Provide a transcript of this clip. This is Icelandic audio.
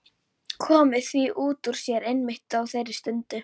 Komið því út úr sér einmitt á þeirri stundu.